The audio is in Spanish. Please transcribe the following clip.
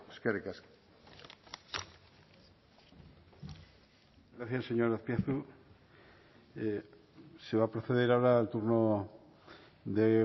eskerrik asko gracias señor azpiazu se va a proceder ahora al turno de